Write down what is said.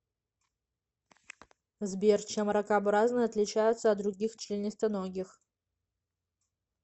сбер чем ракообразные отличаются от других членистоногих